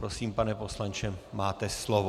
Prosím, pane poslanče, máte slovo.